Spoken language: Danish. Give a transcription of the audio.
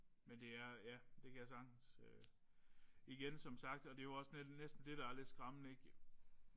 Men det er ja det kan jeg sagtens igen som sagt og det jo også næsten det der er lidt skræmmende ikk